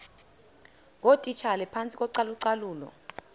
ngootitshala phantsi kocalucalulo